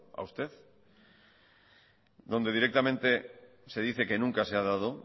a usted donde directamente se dice que nunca se ha dado